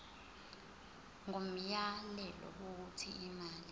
ngomyalelo wokuthi imali